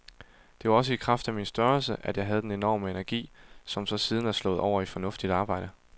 Det var også i kraft af min størrelse, jeg havde den enorme energi, som så siden er slået over i fornuftigt arbejde.